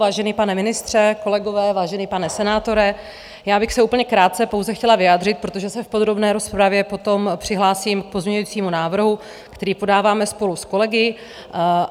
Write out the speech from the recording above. Vážený pane ministře, kolegové, vážený pane senátore, já bych se úplně krátce pouze chtěla vyjádřit, protože se v podrobné rozpravě potom přihlásím k pozměňovacímu návrhu, který podáváme spolu s kolegy.